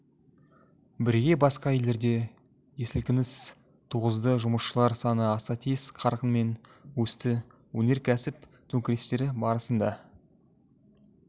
бірге басқа елдерде де сілкініс туғызды жұмысшылар саны аса тез қарқынмен өсті өнеркәсіп төңкерістері барысында